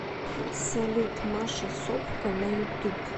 салют маша собко на ютуб